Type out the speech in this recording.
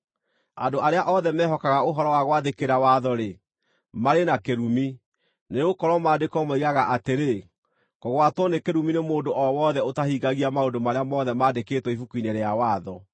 Andũ arĩa othe mehokaga ũhoro wa gwathĩkĩra watho-rĩ, marĩ na kĩrumi, nĩgũkorwo Maandĩko moigaga atĩrĩ, “Kũgwatwo nĩ kĩrumi nĩ mũndũ o wothe ũtahingagia maũndũ marĩa mothe mandĩkĩtwo Ibuku-inĩ rĩa Watho.”